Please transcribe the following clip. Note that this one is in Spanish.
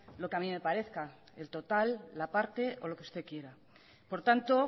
lo que a mí me parezca el total la parte o lo que usted quiera por tanto